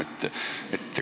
Päevi on ju palju.